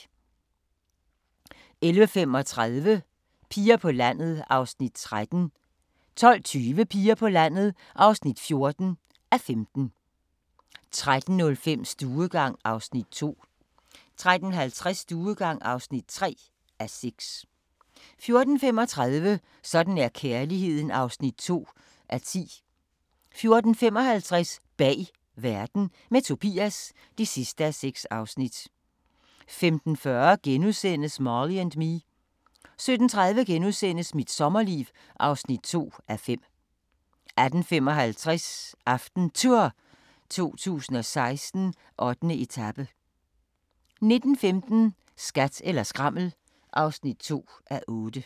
11:35: Piger på landet (13:15) 12:20: Piger på landet (14:15) 13:05: Stuegang (2:6) 13:50: Stuegang (3:6) 14:35: Sådan er kærligheden (2:10) 14:55: Bag verden – med Tobias (6:6) 15:40: Marley & Me * 17:30: Mit sommerliv (2:5)* 18:55: AftenTour 2016: 8. etape 19:15: Skat eller skrammel (2:8)